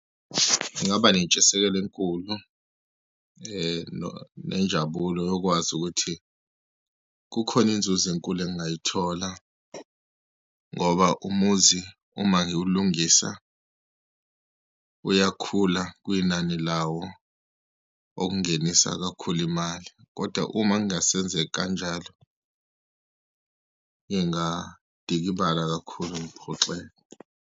Ngaba nentshisekelo enkulu nenjabulo yokwazi ukuthi kukhona inzuzo enkulu engingayithola, ngoba umuzi uma ngiwulungisa, uyakhula kwinani lawo, okungenisa kakhulu imali, kodwa uma kungasenzeki kanjalo, ngingadikibala kakhulu ngiphoxeke.